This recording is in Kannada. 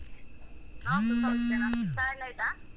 ನಾವ್ಸ ಸೌಖ್ಯನ. ಚಾಯೆಲ್ಲಾ ಆಯ್ತಾ?